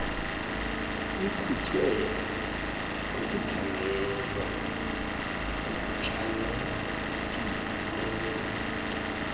ikhutshwe ngokuthandelwa okuchanekileyo